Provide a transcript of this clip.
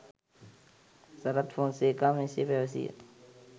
සරත් ෆොන්සේකා මෙසේ පැවසීය